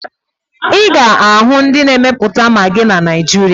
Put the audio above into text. Ị ga-ahụ ndị na-emepụta magị na Niijiria.